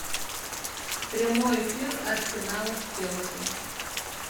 прямой эфир арсенала с челси